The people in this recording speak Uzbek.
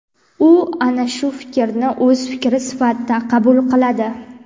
U ana shu fikrni o‘z fikri sifatida qabul qiladi..